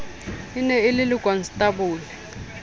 e ne e le lekonstabole